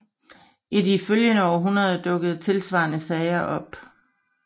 I de følgende århundreder dukkede tilsvarende sager op